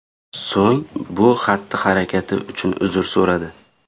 So‘ng bu xatti-harakati uchun uzr so‘radi .